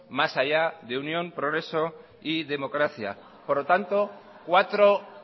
más allá de unión progreso y democracia por lo tanto cuatro